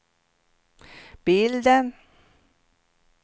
bilden